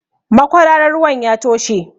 Makwararan ruwan ya toshe.